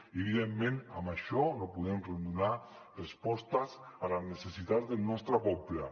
i evidentment amb això no podem donar respostes a les necessitats del nostre poble